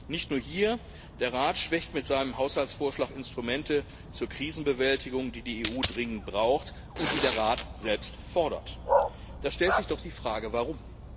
Nicht nur hier Der Rat schwächt mit seinem Haushaltsvorschlag Instrumente zur Krisenbewältigung, die die EU dringend braucht und die der Rat selbst fordert. Da stellt sich doch die Frage Warum?